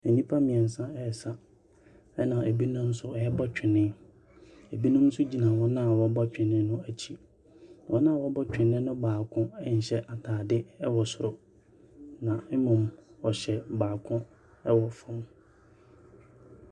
Nnipa mmiɛnsa ɛresa na binom nso ɛrebɔ twene, binom nso gyina wɔn a wɔrebɔ twene no akyi. Wɔn a wɔrebɔ twene no baako nhyɛ ataade wɔ soro na mmom ɔhyɛ baako wɔ fam.